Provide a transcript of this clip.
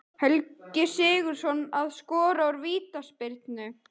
Helgi Sigurðsson að skora úr vítaspyrnu.